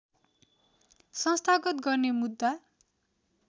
संस्थागत गर्ने मुद्दा